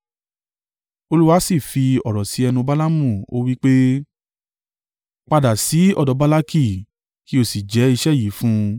Olúwa sì fi ọ̀rọ̀ sí ẹnu Balaamu ó wí pé, “Padà sí ọ̀dọ̀ Balaki kí o sì jẹ́ iṣẹ́ yìí fún un.”